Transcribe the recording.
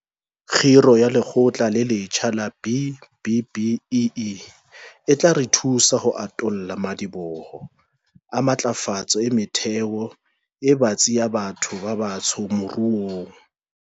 Kgiro ya Lekgotla le letjha la B-BBEE e tla re thusa ho atolla madiboho a matlafatso e metheo e batsi ya batho ba batsho moruong.